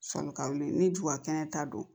Sɔnni ka wuli ni jubakɛnɛ ta don